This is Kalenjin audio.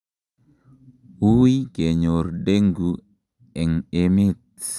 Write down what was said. wuui kenyor dengue en emet